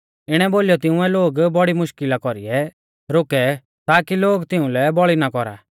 इणै बोलीयौ तिंउऐ लोग बौड़ी मुश्कल़ा कौरीऐ रोकै ताकी लोग तिउंलै बौल़ी ना कौरा